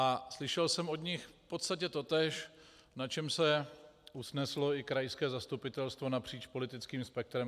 A slyšel jsem od nich v podstatě totéž, na čem se usneslo i krajské zastupitelstvo napříč politickým spektrem.